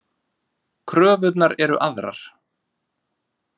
Kröfurnar eru aðrar.